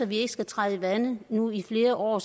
vi ikke skal træde vande nu i flere år